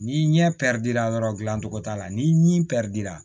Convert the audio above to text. Ni ɲɛ pɛrɛdila yɔrɔ dilancogo t'a la ni ɲi pɛrɛndira